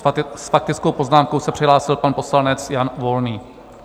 S faktickou poznámkou se přihlásil pan poslanec Jan Volný.